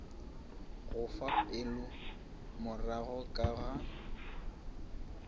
go fa pegelomorago ka ga